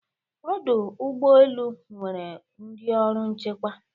Ọdụ ụgbọ elu nwere ndị ọrụ nchekwa.